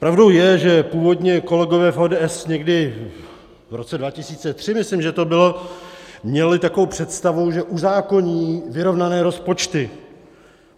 Pravdou je, že původně kolegové v ODS někdy v roce 2003, myslím, že to bylo, měli takovou představu, že uzákoní vyrovnané rozpočty.